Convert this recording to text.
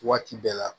Waati bɛɛ la